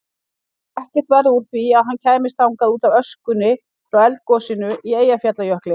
Ekkert varð úr því að hann kæmist þangað útaf öskunni frá eldgosinu í Eyjafjallajökli.